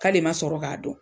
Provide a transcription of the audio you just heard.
K'ale ma sɔrɔ k'a don.